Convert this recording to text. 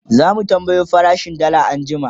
zamu tambayo farashin dalla anjima